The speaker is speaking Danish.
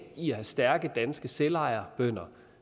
i at have stærke danske selvejerbønder